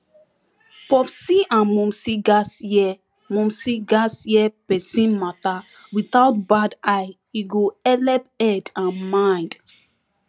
popsi and momsi gatz hear momsi gatz hear pesin matter without bad eye e go helep head and mind